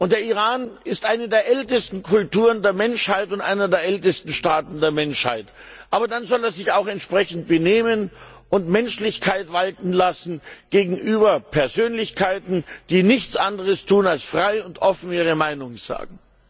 Der Iran ist eine der ältesten Kulturen der Menschheit und einer der ältesten Staaten der Menschheit. Aber dann soll er sich auch entsprechend benehmen und Menschlichkeit walten lassen gegenüber Persönlichkeiten, die nichts anderes tun, als frei und offen ihre Meinung sagen.